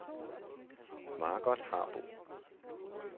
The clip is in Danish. Margot Harbo